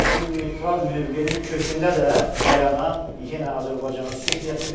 Bu neytral mövqenin kökündə də dayanan yenə Azərbaycanın sülh niyətidir.